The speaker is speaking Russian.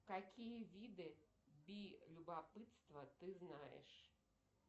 какие виды би любопытства ты знаешь